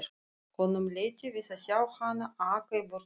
Honum létti við að sjá hana aka í burtu.